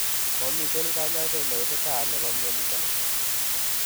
Momiten kanyaiset neiititat nebo mnyoniton